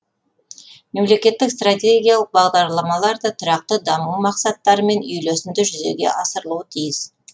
мемлекеттік стратегиялық бағдарламалар да тұрақты даму мақсаттарымен үйлесімді жүзеге асырылуы тиіс